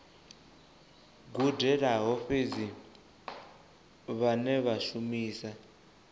gudelaho fhedzi vhane vha shumisa